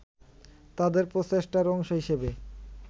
তাদের প্রচেষ্টার অংশ হিসেবে